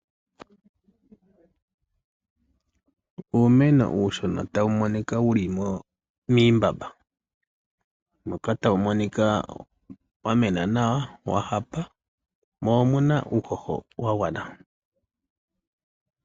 Uumeno uushona tawu monika wuli miimbamba. Otawu monika wa mena nawa wa hapa. Mo omuna uuhoho wagwana.